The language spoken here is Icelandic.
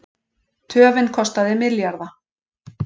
Töfin kostaði milljarða